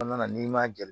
n'i ma